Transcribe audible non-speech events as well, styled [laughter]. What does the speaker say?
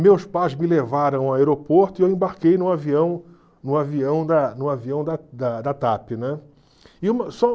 Meus pais me levaram ao aeroporto e eu embarquei no avião no avião da no avião da da da TAP, né? [unintelligible]